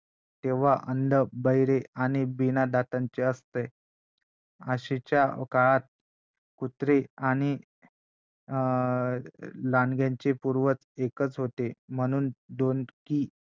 तेव्हा अंध बहिरे आणि बिनादातांचे असतेआशीच्या काळात कुत्रे आणि अं लांडग्याचे पूर्वज एकच होते म्हणून दोन की